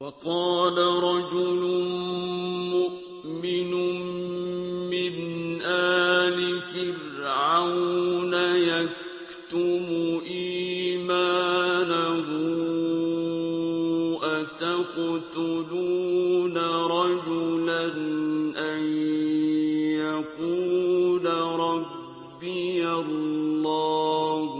وَقَالَ رَجُلٌ مُّؤْمِنٌ مِّنْ آلِ فِرْعَوْنَ يَكْتُمُ إِيمَانَهُ أَتَقْتُلُونَ رَجُلًا أَن يَقُولَ رَبِّيَ اللَّهُ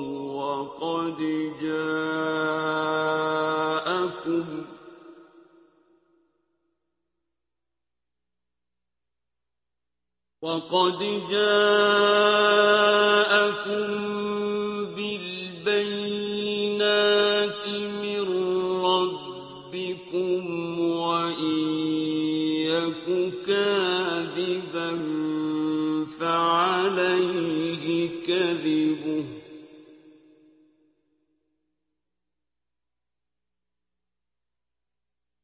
وَقَدْ جَاءَكُم بِالْبَيِّنَاتِ مِن رَّبِّكُمْ ۖ وَإِن يَكُ كَاذِبًا فَعَلَيْهِ كَذِبُهُ ۖ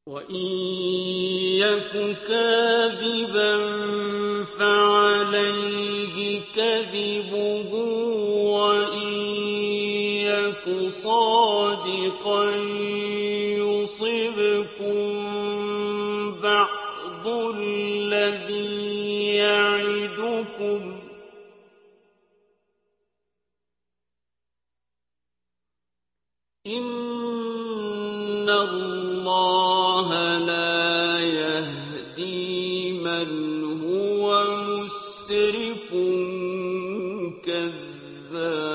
وَإِن يَكُ صَادِقًا يُصِبْكُم بَعْضُ الَّذِي يَعِدُكُمْ ۖ إِنَّ اللَّهَ لَا يَهْدِي مَنْ هُوَ مُسْرِفٌ كَذَّابٌ